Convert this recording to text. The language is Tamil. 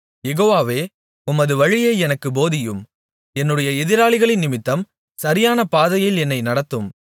யெகோவாவே உமது வழியை எனக்குப் போதியும் என்னுடைய எதிராளிகளினிமித்தம் சரியான பாதையில் என்னை நடத்தும்